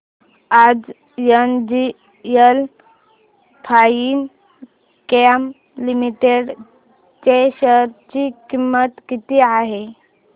आज NGL Finechem limited च्या share ची किंमत किती आहे